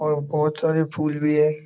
और बहुत सारे फूल भी है।